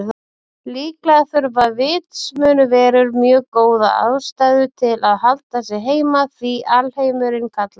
Líklega þurfa vitsmunaverur mjög góða ástæðu til að halda sig heima því alheimurinn kallar.